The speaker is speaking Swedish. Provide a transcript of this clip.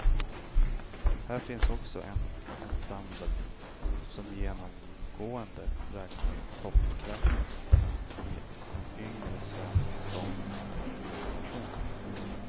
Här finns också en ensemble som genomgående räknar toppkrafterna i en yngre svensk sångargeneration.